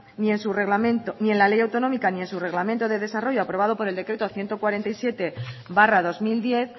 ni en su reglamento ni en la ley autonómica ni en su reglamento de desarrollo aprobado por el decreto ciento cuarenta y siete barra dos mil diez